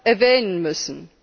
erwähnen müssen.